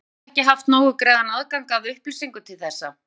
Hafa borgararnir ekki haft nógu greiðan aðgang að upplýsingum til þessa?